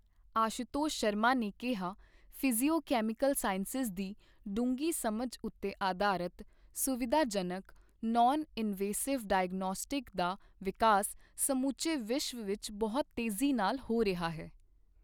ਆਸ਼ੂਤੋਸ਼ ਸ਼ਰਮਾ ਨੇ ਕਿਹਾ, physiochemical sciences ਦੀ ਡੂੰਘੀ ਸਮਝ ਉੱਤੇ ਆਧਾਰਤ ਸੁਵਿਧਾਜਨਕ, ਨੌਨ ਇਨਵੇਸਿਵ ਡਾਇਓਗਨੌਸਟਿਕਸ ਦਾ ਵਿਕਾਸ ਸਮੁੱਚੇ ਵਿਸ਼ਵ ਵਿੱਚ ਬਹੁਤ ਤੇਜ਼ੀ ਨਾਲ ਹੋ ਰਿਹਾ ਹੈ।